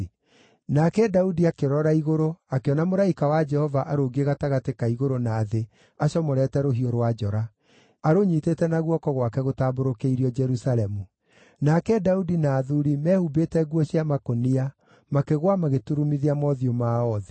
Nake Daudi akĩrora igũrũ akĩona mũraika wa Jehova arũngiĩ gatagatĩ ka igũrũ na thĩ acomorete rũhiũ rwa njora, arũnyiitĩte na guoko gwake gũtambũrũkĩirio Jerusalemu. Nake Daudi na athuuri, mehumbĩte nguo cia makũnia, makĩgũa magĩturumithia mothiũ mao thĩ.